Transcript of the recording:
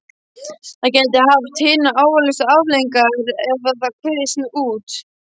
Það gæti haft hinar alvarlegustu afleiðingar ef þetta kvisaðist út.